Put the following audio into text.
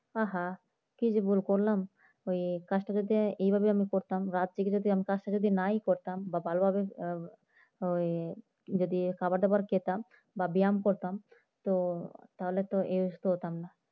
আহ হা কি যে ভুল করলাম ওই কাজটা যদি আমি এভাবে করতাম রাত জেগে যদি কাজটা আমি নাই করতাম বা ভালোভাবে ওই খাবার দাবার খেতাম বা ব্যায়াম করতাম তো তাহলে তো এরকম অসুস্থ হতাম না।